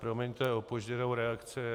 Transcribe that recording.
Promiňte opožděnou reakci.